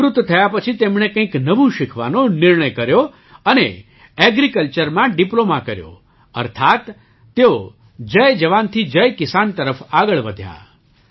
નિવૃત્ત થયા પછી તેમણે કંઈક નવું શીખવાનો નિર્ણય કર્યો અને Agricultureમાં ડિપ્લૉમા કર્યો અર્થાત્ તેઓ જય જવાનથી જય કિસાન તરફ આગળ વધ્યા